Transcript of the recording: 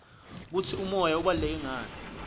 kutsi umoya ubaluleke ngani